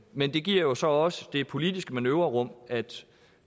men det giver jo så også det politiske manøvrerum at